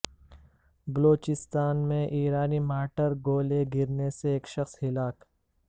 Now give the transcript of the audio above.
بلوچستان میں ایرانی مارٹر گولے گرنے سے ایک شخص ہلاک